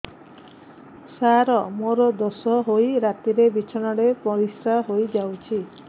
ସାର ମୋର ଦୋଷ ହୋଇ ରାତିରେ ବିଛଣାରେ ପରିସ୍ରା ହୋଇ ଯାଉଛି